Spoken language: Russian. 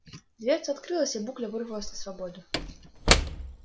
дверца открылась и букля вырвалась на свободу